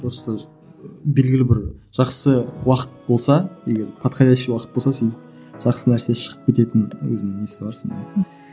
просто белгілі бір жақсы уақыт болса егер подходящий уақыт болса сен жақсы нәрсе шығып кететін өзінің несі бар сондай